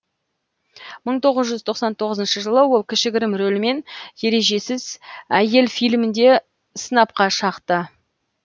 мың тоғыз жүз тоқсан тоғызыншы жылы ол кішігірім рөлмен ережесіз әйел фильмінде сынапқа шақты